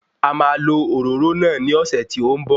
A máa lo òróró náà ní ọ̀sẹ̀ tí ó ń bọ̀